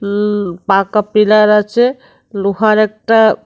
উম পাকা পিলার আছে লোহার একটা।